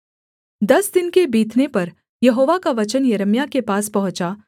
दस दिन के बीतने पर यहोवा का वचन यिर्मयाह के पास पहुँचा